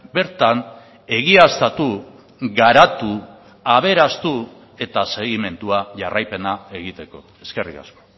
bertan egiaztatu garatu aberastu eta segimendua jarraipena egiteko eskerrik asko